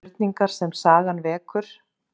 Spurningar sem sagan vekur